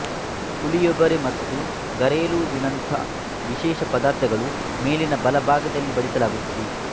ಪುಳಿಯೋಗರೆ ಮತ್ತು ಗರೇಲುವಿನಂಥ ವಿಶೇಷ ಪದಾರ್ಥಗಳನ್ನು ಮೇಲಿನ ಬಲಭಾಗದಲ್ಲಿ ಬಡಿಸಲಾಗುತ್ತದೆ